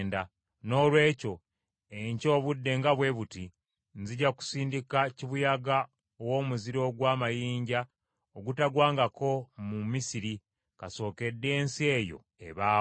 noolwekyo, enkya obudde nga bwe buti, nzija kusindika kibuyaga ow’omuzira ogw’amayinja ogutagwangako mu Misiri kasookedde ensi eyo ebaawo.